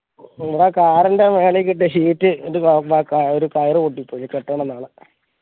ഇവിടെ കാറിന്റെ മേളിൽ കെട്ടിയ sheet ഒരു കയർ പൊട്ടി പോയി കെട്ടണം നാളെ